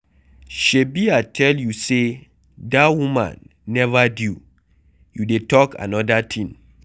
Shebi I tell you say dat woman never due, you dey talk another thing.